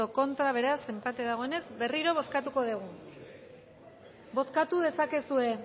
contra beraz enpate dagoenez berriro bozkatuko dugu bozkatu dezakezue